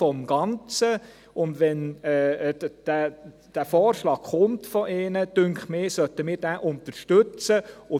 Wenn der Vorschlag von ihnen kommt, finde ich, dass wir diesen unterstützen sollten.